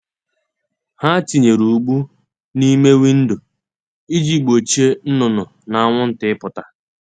Ha tinyere ụgbụ n’ime windo iji gbochie nnụnụ na anwụnta ịpụta.